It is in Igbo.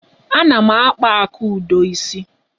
Ana m akpa Akudo isi.